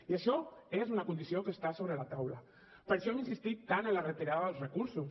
i això és una condició que està sobre la taula per això hem insistit tant en la retirada dels recursos